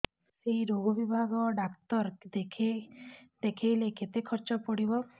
ସେଇ ରୋଗ ବିଭାଗ ଡ଼ାକ୍ତର ଦେଖେଇଲେ କେତେ ଖର୍ଚ୍ଚ ପଡିବ